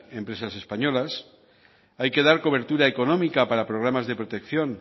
empresas españolas hay que dar cobertura económica para programas de protección